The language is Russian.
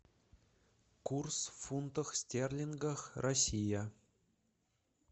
курс в фунтах стерлингах россия